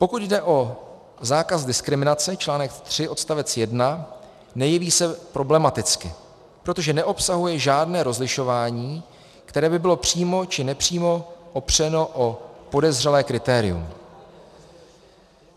Pokud jde o zákaz diskriminace, článek 3 odst. 1, nejeví se problematicky, protože neobsahuje žádné rozlišování, které by bylo přímo či nepřímo opřeno o podezřelé kritérium.